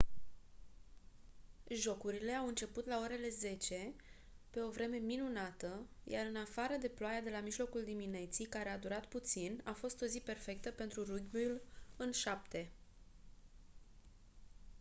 jocurile au început la orele 10:00 pe o vreme minunată iar în afară de ploaia de la mijlocul dimineții care a durat puțin a fost o zi perfectă pentru rugbiul în șapte